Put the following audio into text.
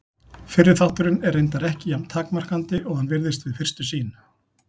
Fyrri þátturinn er reyndar ekki jafn takmarkandi og hann virðist við fyrstu sýn.